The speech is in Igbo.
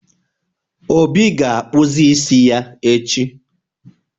Obi ga-akpazụ isi ya echi.